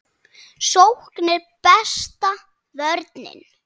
Sókn er besta vörnin.